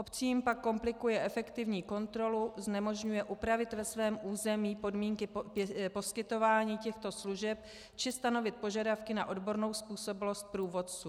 Obcím pak komplikuje efektivní kontrolu, znemožňuje upravit ve svém území podmínky poskytování těchto služeb či stanovit požadavky na odbornou způsobilost průvodců.